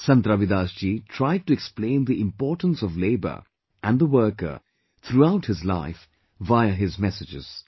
Sant Ravidas ji tried to explain the importance of labour and the worker throughout his life via his messages